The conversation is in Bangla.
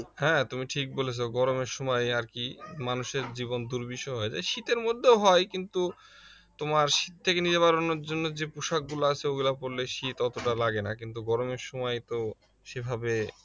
হ্যাঁ তুমি ঠিক বলেছো গরমের সময় আর কি মানুষের জীবন দুর্বিষহ হয়ে যায় শীতের মধ্যেও হয় কিন্তু তোমার শীত থেকে নিবারণের জন্য যে পোশাকগুলো আছে ওগুলা পড়লে শীত অতটা লাগে না কিন্তু গরমের সময় তো সেভাবে